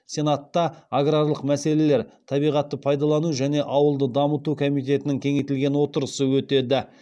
сенатта аграрлық мәселелер табиғатты пайдалану және ауылды дамыту комитетінің кеңейтілген отырысы өтеді